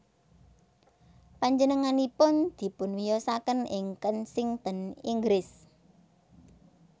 Panjenenganipun dipunwiyosaken ing Kensington Inggris